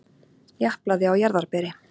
Japlaði á jarðarberi.